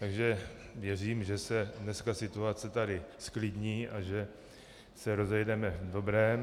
Takže věřím, že se dneska situace tady zklidní a že se rozejdeme v dobrém.